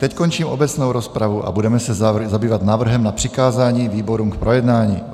Teď končím obecnou rozpravu a budeme se zabývat návrhem na přikázání výborům k projednání.